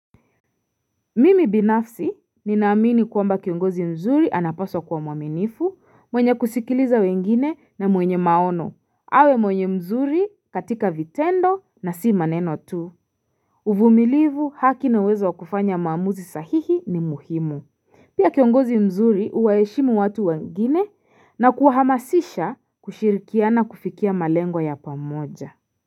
Mimi binafsi ninaamini kwamba kiongozi mzuri anapaswa kuwa mwaminifu mwenye kusikiliza wengine na mwenye maono awe mwenye mzuri katika vitendo na si maneno tu uvumilivu haki na wezo kufanya maamuzi sahihi ni muhimu Pia kiongozi mzuri huwaeshimu watu wengine na kuahamasisha kushirikia na kufikia malengwa ya pamoja.